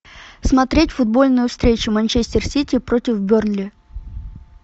смотреть футбольную встречу манчестер сити против бернли